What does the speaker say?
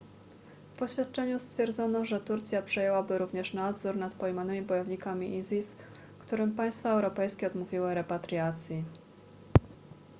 w oświadczeniu stwierdzono że turcja przejęłaby również nadzór nad pojmanymi bojownikami isis którym państwa europejskie odmówiły repatriacji